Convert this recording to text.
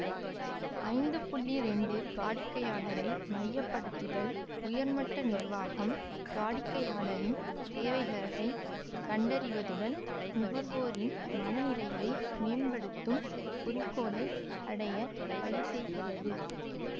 ஐந்து இரண்டு வாடிக்கையாளரை மையப்படுத்துதல் உயர்மட்ட நிர்வாகம் வாடிக்கையாளரின் தேவைகளைக் கண்டறிவதுடன் நுகர்வோரின் மன நிறைவை மேம்படுத்தும் குறிக்கோளை அடைய வழிசெய்கிறது